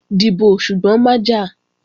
Dìbò, ṣùgbọ́n má jà!